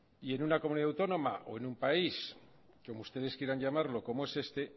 y en una comunidad autónoma o en un país como ustedes quieran llamarlo como es este